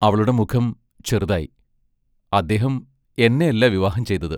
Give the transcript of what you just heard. അവളുടെ മുഖം ചെറുതായി അദ്ദേഹം എന്നെ അല്ല വിവാഹം ചെയ്തത്.